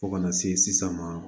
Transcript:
Fo kana se sisan ma